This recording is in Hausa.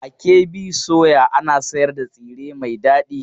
A KB soya ana sayar da tsire mai dadi.